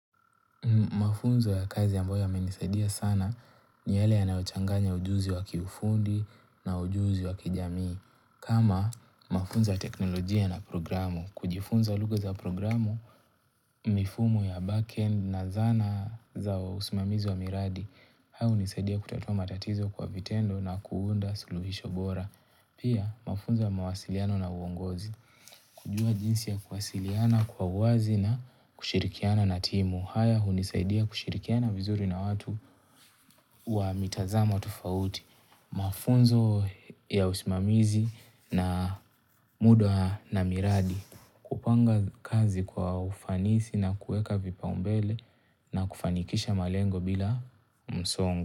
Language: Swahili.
Mafunzo ya kazi ambayo yamenisaidia sana ni yale yanayochanganya ujuzi wa kiufundi na ujuzi wa kijamii. Kama mafunzo ya teknolojia na programu, kujifunza lugha za programu, mifumu ya back-end na zana za usimamizi wa miradi. Haya unisaidia kutatua matatizo kwa vitendo na kuunda suluhisho bora. Pia mafunzo ya mawasiliano na uongozi. Kujua jinsi ya kuwasiliana kwa uwazi na kushirikiana na timu. Haya hunisaidia kushirikiana vizuri na watu wa mitazamo tofauti mafunzo ya usimamizi na mudwa na miradi kupanga kazi kwa ufanisi na kueka vipaumbele na kufanikisha malengo bila msongo.